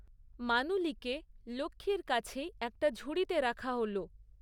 মানুলিকে লক্ষ্মীর কাছেই একটা ঝুড়িতে রাখা হল।